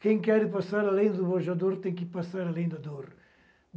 Quem quer passar além do tem que passar além da dor.